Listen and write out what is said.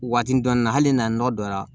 Waati dɔɔnin na hali n'a nɔgɔ donna